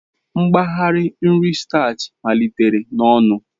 Mgbari nri statchị malitere n'ọnụ.